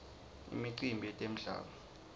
imicimbi yetemdlalo